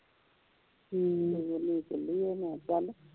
ਹਮ ਨੇ ਇਕੱਲੀ ਹੋਣਾ ਕੱਲ੍ਹ